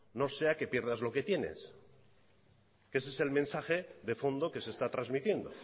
no sea que pierdas lo que tienes que ese es el mensaje de fondo que se está transmitiendo